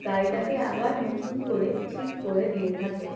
গাড়িটাকে আবার নতুন করে ঠিক করে দিয়ে থাকে।